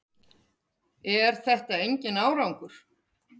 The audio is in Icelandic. Er þetta enginn árangur?